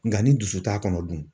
Nka ni dusu t'a kɔnɔ dun.